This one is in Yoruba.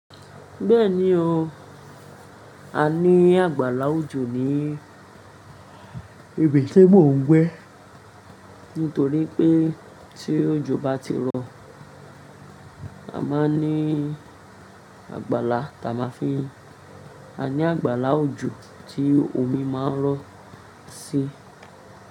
Bẹ́ẹ̀ni o, a ní àgbàlá òjò ní ibi tí mò ń gbé. Nítorí pé tí òjò bá ti rọ, a máa ní àgbàlá táa máa fi A ní àgbàlá òjò tí omi máa ń rọ̀ sí.